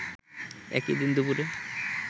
একই দিন দুপুরে